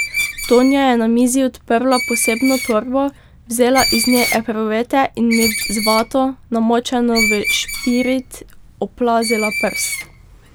Tonja je na mizi odprla posebno torbo, vzela iz nje epruvete in mi z vato, namočeno v špirit, oplazila prst.